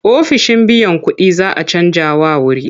Ofishin biyan kuɗin za a canjawa wuri.